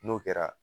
N'o kɛra